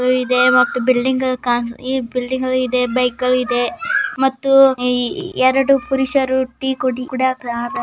Building ಇದೆ bike ಗಳು ಇದೆ ಮತ್ತು ಎರಡು ಪುರುಷರು ಟೀ ಕುಡಿಯುತ್ತಾರೆ .